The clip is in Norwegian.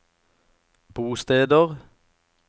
bosteder